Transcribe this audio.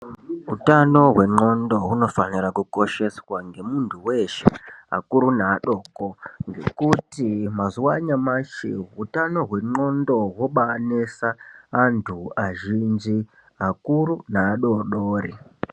Utano hwendxondo hunofanira kukosheswa ngemuntu weshe akuru neadoko. Ngekuti utano hwendxondo hwobaanesa antu azhinji akuru neadodori.